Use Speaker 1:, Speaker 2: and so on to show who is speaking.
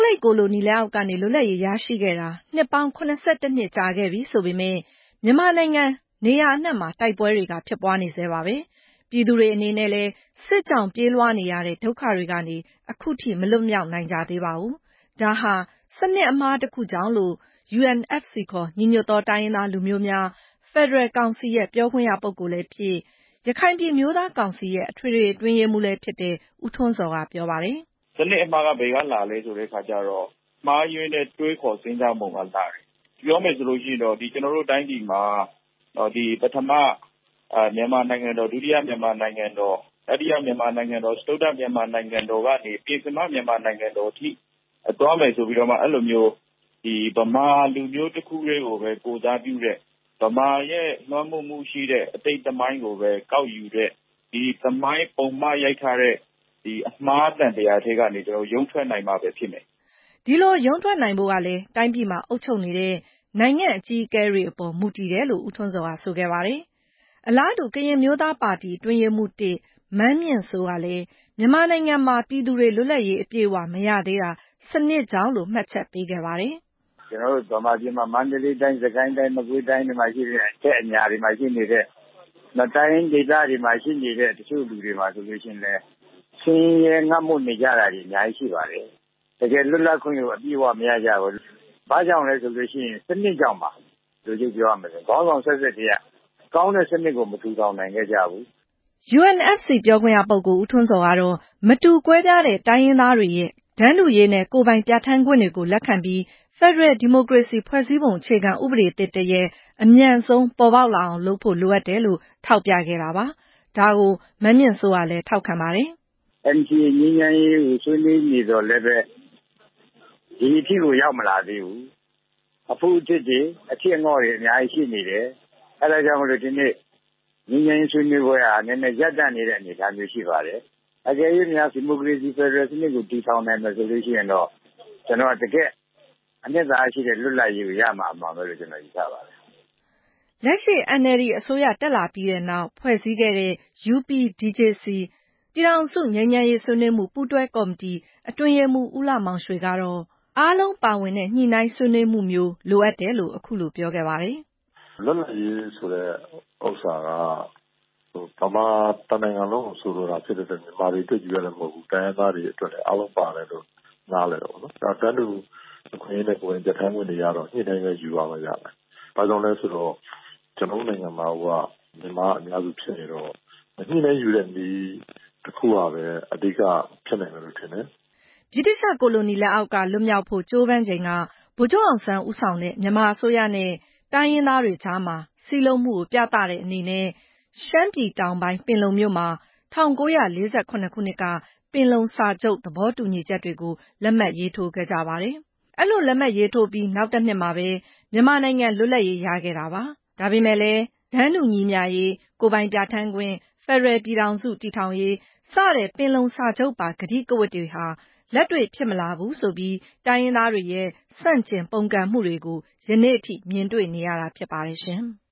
Speaker 1: လိပ် ကိုလိုနီလက်အောက်ကနေ လွတ်လပ်ရေးရရှိခဲ့တာ နှစ်ပေါင်း ၇၁ နှစ် ကြာခဲ့ပြီဆိုပေမယ့် မြန်မာနိုင်ငံ နေရာအနှံ့မှာ တိုက်ပွဲတွေ ဖြစ်ပွားနေဆဲပါ။ ပြည်သူတွေအနေနဲ့လည်း စစ်ကြောင့် ပြေးလွှားနေရတဲ့ ဒုက္ခတွေကနေ အခုထိ မလွတ်မြောက်နိုင်သေးပါဘူး။ ဒါဟာ စနစ်အမှားတခုကြောင့် ဖြစ်တယ်လို့ UNFC ခေါ် ညီညွတ်သော တိုင်းရင်းသား လူမျိုးများ ဖက်ဒရယ်ကောင်စီရဲ့ ပြောခွင့်ရပုဂ္ဂိုလ်လည်းဖြစ် ရခိုင်ပြည် အမျိုးသားကောင်စီရဲ့ အထွေထွေ အတွင်းရေးမှူးလည်းဖြစ်သူ ဦးထွန်းဇော် က ပြောပါတယ်
Speaker 2: ။ “စနစ်အမှားက ဘယ်ကလာသလဲဆိုတော့ မှားယွင်းတဲ့ တွေးခေါ်စဉ်းစားပုံက လာတယ်။ ပြောမယ်ဆိုရင်တော့ ကျနော်တို့ တိုင်းပြည်မှာ ပထမ မြန်မာနိုင်ငံတော်၊ ဒုတိယ မြန်မာနိုင်ငံတော်၊ တတိယ မြန်မာနိုင်ငံတော်၊ စတုတ္ထ မြန်မာနိုင်ငံတော်ကနေ ပဉ္စမ မြန်မာနိုင်ငံတော်အထိ သွားမယ်ဆိုပြီးတော့မှ အဲ့လိုမျိုး ဗမာလူမျိုး တခုတည်းကိုပဲ ကိုယ်စားပြုတဲ့ ဗမာရဲ့ လွှမ်းမိုးမှုရှိတဲ့ အတိတ်သမိုင်းကိုပဲ ကောက်ယူတဲ့ သမိုင်းပုံမှားရိုက်ထားတဲ့ အမှားသံသရာကနေ ရုန်းထွက်နိုင်မှပဲ ဖြစ်မယ်”
Speaker 1: ဒီလို ရုန်းထွက်နိုင်ဖို့ကလည်း တိုင်းပြည်မှာ အုပ်ချုပ်နေတဲ့ နိုင်ငံ့အကြီးအကဲတွေအပေါ် မူတည်တယ်လို့လည်း ဦးထွန်းဇော်က ပြောဆိုခဲ့ပါတယ်။ အလားတူ ကရင်အမျိုးသားပါတီ အတွင်းရေးမှူး-၁ မန်းမြင့်စိုး ကလည်း မြန်မာနိုင်ငံမှာ ပြည်သူတွေ လွတ်လပ်ရေး အပြည့်အဝ မရသေးတာ စနစ်ကြောင့်လို့ မှတ်ချက်ပေးခဲ့ပါတယ်။
Speaker 3: “ကျနော်တို့ ဗမာပြည်မှာ မန္တလေးတိုင်း၊ မကွေးတိုင်း၊ စစ်ကိုင်းတိုင်းတွေမှာရှိနေတဲ့ အထက်အညာတွေမှာ ရှိနေတဲ့ တိုင်းရင်းဒေသတွေမှာရှိနေတဲ့ တချို့လူတွေမှာဆိုရင် ဆင်းရဲငတ်မွတ်နေကြတာတွေ အများကြီး ရှိပါတယ်။ တကယ့်လွတ်လပ်ခွင့်ကို အပြည့်အဝ မရကြပါဘူး။ ဘာကြောင့်လဲဆိုရင် စနစ်ကြောင့်ပါ။ အတိုချုပ် ပြောရမယ်ဆိုရင် ကောင်းတဲ့စနစ်ကို မထူထောင်နိုင်ခဲ့ကြဘူး”
Speaker 1: UNFC ပြောခွင့်ရပုဂ္ဂိုလ် ဦးထွန်းဇော်ကတော့ - မတူကွဲပြားတဲ့ တိုင်းရင်းသားတွေရဲ့ တန်းတူရေးနဲ့ ကိုင်ပိုင်ပြဌာန်းခွင့်တွေ လက်ခံပြီး ဖက်ဒရယ် ဒီမိုကရေစီ ဖွဲ့စည်းပုံ အခြေခံဥပဒေသစ်တရပ် အမြန်ဆုံး ပေါ်ပေါက်လာအောင် လုပ်ဖို့ လိုအပ်တယ်လို့ ထောက်ပြခဲ့ပါတယ်။ ဒါကို မန်းမြင့်စိုးကလည်း ထောက်ခံခဲ့တာပါ
Speaker 3: ။ “NCA ငြိမ်းချမ်းရေးကို ဆွေးနွေးနေသော်လည်းပဲ ဒီအထိကို ရောက်မလာသေးဘူး။ အဖုအထစ်တွေ အထစ်အငေ့ါတွေ အများကြီး ရှိနေတယ်။ အဲ့ဒါကြောင့်မို့ ဒီနေ့ ငြိမ်းချမ်းရေးဆွေးနွေးပွဲတွေ ရပ်တန့်နေတဲ့ အနေအထားမျိုး ရှိပါတယ်။ အကယ်၍များ ဖက်ဒရယ်ဒီမိုကရေစီစနစ်ကို ထူထောင်နိုင်မယ်ဆိုရင်တော့ ကျနော်တို့အနေနဲ့ တကယ့်ကို အနှစ်သာရရှိတဲ့ လွတ်လပ်ရေးကိုရမှာ အမှန်ပဲလို့ ကျနော် ယူဆပါတယ်”
Speaker 1: လက်ရှိ NLD အစိုးရတက်လာပြီးနောက် ဖွဲ့စည်းခဲ့တဲ့ UPDJC ပြည်ထောင်စု ငြိမ်းချမ်းရေး ဆွေးနွေးမှု ပူးတွဲကော်မတီ အတွင်းရေးမှူး ဦးလှမောင်ရွှေကတော့ - အားလုံးပါဝင်တဲ့ ညှိနှိုင်းဆွေးနွေးမှုမျိုး လိုအပ်တယ်လို့ အခုလို ပြောခဲ့ပါတယ်
Speaker 3: ။ “လွတ်လပ်ရေးဆိုတဲ့ဥစ္စာက မြန်မာတနိုင်ငံလုံးကို ဆိုလိုတာဖြစ်တဲ့အတွက် မြန်မာတွေအတွက်ချည်း မဟုတ်ဘူး။ တိုင်းရင်းသားတွေအတွက်လည်း အားလုံးပါတယ်လို့ နားလည်တယ်ပေါ့နော်။ နောက် တန်းတူအခွင့်အရေးနဲ့ ကိုယ်ပိုင်ပြဌာန်းခွင့်တွေကတော့ ညှိနှိုင်းယူမှရလိမ့်မယ်။ ဘာကြောင့်လဲဆိုတော့ ကျနော်တို့နိုင်ငံမှာ မြန်မာအများစု ဖြစ်နေတော့ ညှိနှိုင်းယူတဲ့နည်း တခုကပဲ အဓိက ဖြစ်နိုင်မယ်လို့ ထင်တယ်”
Speaker 1: ဗြိတိသျှကိုလိုနီ လက်အောက်က လွတ်မြောက်ဖို့ ကြိုးပမ်းချိန်က ဗိုလ်ချုပ်အောင်ဆန်း ဦးဆောင်တဲ့ မြန်မာအစိုးရနဲ့ တိုင်းရင်းသားတွေကြားမှာ စည်းလုံးမှုကို ပြသတဲ့အနေနဲ့ ရှမ်းပြည်တောင်ပိုင်း ပင်လုံမြို့မှာ ၁၉၄၇ ခုနှစ်က ပင်လုံစာချုပ်သဘောတူညီချက်တွေကို လက်မှတ်ရေးထိုးခဲ့ကြပါတယ်။ အဲ့လိုရေးထိုးပြီး နောက်တနှစ်မှာပဲ မြန်မာနိုင်ငံ လွတ်လပ်ရေး ရခဲ့တာပါ။ ဒါပေမဲ့လည်း တန်းတူညီမျှရေး၊ ကိုယ်ပိုင်ပြဌာန်းခွင့်၊ ဖက်ဒရယ်ပြည်ထောင်စု တည်ထောင်ရေး စတဲ့ ပင်လုံစာချုပ်ပါ ကတိကဝတ်တွေဟာ လက်တွေ့ဖြစ်မလာဘူးဆိုပြီး တိုင်းရင်းသားတွေရဲ့ ဆန့်ကျင်ပုန်ကန်မှုတွေကို ယနေ့ထိ မြင်တွေ့နေရတာ ဖြစ်ပါတယ်ရှင်။